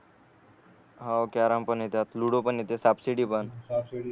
हो कॅरम पण येते आता लुडो पण येते साप सीडी पण